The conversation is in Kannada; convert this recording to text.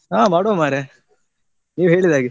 ಹಾ ಮಾಡುವ ಮಾರ್ರೆ ನೀವ್ ಹೇಳಿದಾಗೆ.